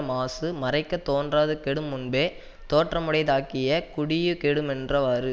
மாசு மறைக்கத் தோன்றாது கெடும் முன்பே தோற்றமுடைத்தாகிய குடியு கெடுமென்றவாறு